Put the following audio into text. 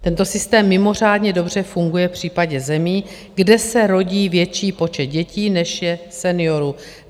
Tento systém mimořádně dobře funguje v případě zemí, kde se rodí větší počet dětí, než je seniorů.